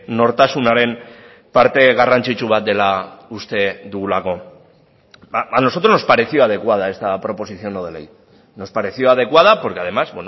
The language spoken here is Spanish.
nortasunaren parte garrantzitsu bat dela uste dugulako a nosotros nos pareció adecuada esta proposición no de ley nos pareció adecuada porque además